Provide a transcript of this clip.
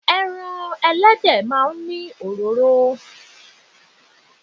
Ẹran Ẹlẹ́dẹ̀ máa ń ní òróró.